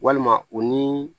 Walima u ni